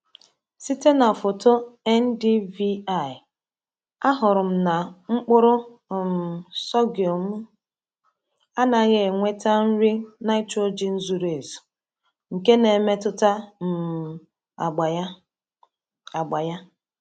Site na foto NDVI, ahụrụ m na mkpụrụ um sorghum m anaghị enweta nri nitrogen zuru ezu, nke na-emetụta um agba ya. agba ya.